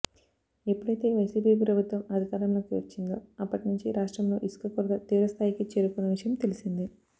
ఎప్పుడైతే వైసీపీ ప్రభుత్వం అధికారంలోకి వచ్చిందో అప్పటి నుంచి రాష్ట్రంలో ఇసుక కొరత తీవ్ర స్థాయికి చేరుకున్న విషయం తెలిసిందే